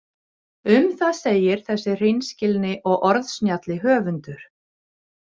Um það segir þessi hreinskilni og orðsnjalli höfundur: